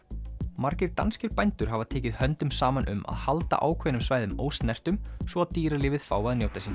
margir danskir bændur hafa tekið höndum saman um að halda ákveðnum svæðum ósnertum svo að dýralífið fái að njóta sín